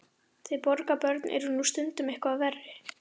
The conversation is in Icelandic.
Þið borgarbörn eruð nú stundum eitthvað verri.